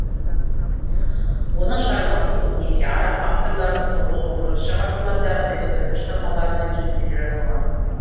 оның шығармасы көбінесе араб авторларының тоғыз он бірінші ғасырлардағы дәстүрлі шығармаларына негізделе жазылған